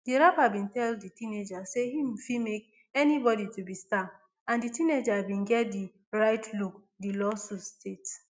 di rapper bin tell di teenager say im fit make anybody to be star and di teenager bin get di right look di lawsuit states